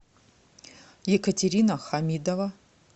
екатерина хамидова